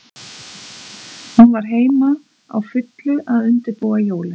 Hún var heima, á fullu að undirbúa jólin.